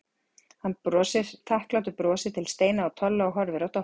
Hann brosir þakklátu brosi til Steina og Tolla og horfir á Doppu.